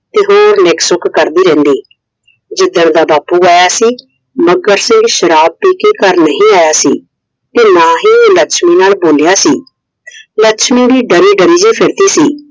ਹੋਰ ਨਿੱਕ ਸੁੱਕ ਕਰਦੀ ਰਹਿੰਦੀ ਜਿਦਣ ਦਾ ਬਾਪੂ ਆਇਆ ਸੀ Iਮੱਘਰ ਸਿੰਘ ਸ਼ਰਾਬ ਪੀ ਕੇ ਘਰ ਨਹੀਂ ਆਇਆ ਸੀ I ਤੇ ਨਾ ਹੀ ਉਹ ਲੱਛਮੀ ਨਾਲ ਬੋਲਿਆਂ ਸੀ I ਲੱਛਮੀ ਵੀ ਡਰੀ ਡਰੀ ਜੀ ਫ਼ਿਰਦੀ ਸੀ I